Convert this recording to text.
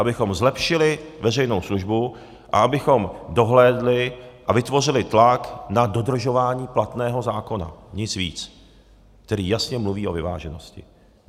Abychom zlepšili veřejnou službu a abychom dohlédli a vytvořili tlak na dodržování platného zákona, nic víc, který jasně mluví o vyváženosti.